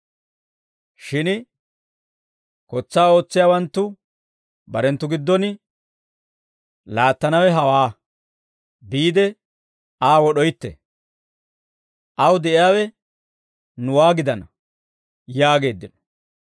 «Shin kotsaa ootsiyaawanttu barenttu giddon, ‹Laattanawe hawaa; biide Aa wod'oytte; aw de'iyaawe nuwaa gidana!› yaageeddino.